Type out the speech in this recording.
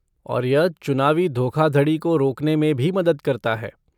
और यह चुनावी धोखाधड़ी को रोकने में भी मदद करता है।